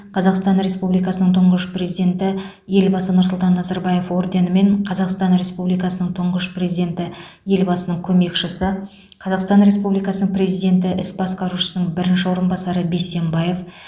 қазақстан республикасының тұңғыш президенті елбасы нұрсұлтан назарбаев орденімен қазақстан республикасының тұңғыш президенті елбасының көмекшісі қазақстан республикасының президенті іс басқарушысының бірінші орынбасары бисембаев